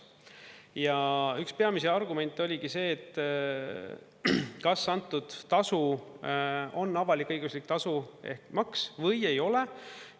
Ja üks peamisi argumente oligi see, et kas antud tasu on avalik-õiguslik tasu ehk maks või ei ole.